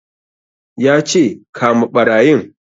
Ya ce 'Kama ɓarayin'!